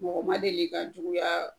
Mɔgɔ ma deli ka juguyaa